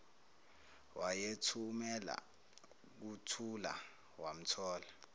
wayeluthumela kuthula wamthola